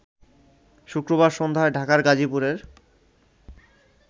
শুক্রবার সন্ধ্যায় ঢাকার গাজীপুরের